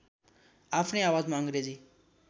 आफ्नै आवाजमा अङ्ग्रेजी